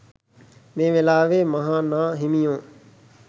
මේ වේලාවේ මහා නා හිමියෝ